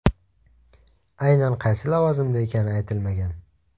Aynan qaysi lavozimda ekani aytilmagan.